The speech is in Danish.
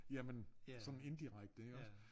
Jamen sådan indirekte iggås